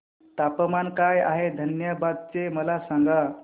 तापमान काय आहे धनबाद चे मला सांगा